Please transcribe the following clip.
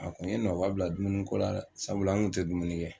A kun ye nɔbila dumuniko la dɛ sabula n tɛ dumuni kɛ